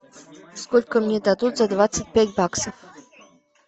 сколько мне дадут за двадцать пять баксов